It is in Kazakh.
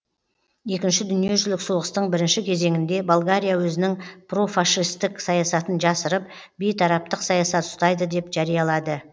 екінші дүниежүзілік соғыстың бірінші кезеңінде болгария өзінің профашистік саясатын жасырып бейтараптық саясат ұстайды деп жариялады